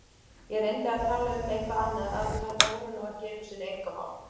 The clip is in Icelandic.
Ég reyndi að tala um eitthvað annað af því þetta voru nú einu sinni einkamál.